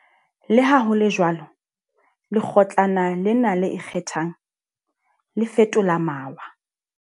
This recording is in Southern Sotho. Leha ho le jwalo, Lekgotlana lena le Ikgethang, le fetola mawa.